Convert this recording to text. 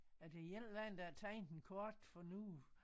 Er det en eller anden der har tegnet en kort for noget